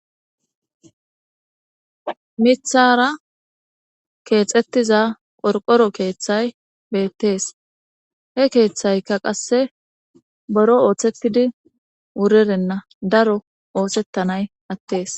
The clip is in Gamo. mithara keexettiza qorqoro keeththay beettees he keeththayka qasse boro ooththetidi wurerenna daro osetanay attes